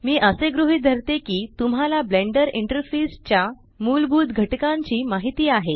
मी असे गृहीत धरते की तुम्हाला ब्लेंडर इंटरफेस च्या मूलभूत घटकांची माहिती आहे